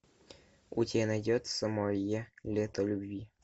у тебя найдется мое лето любви